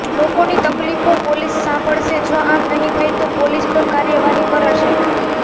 લોકોની તકલીફો પોલીસ સાંભળશે જો આમ નહિ થાય તો પોલીસ પર કાર્યવાહી કરાશે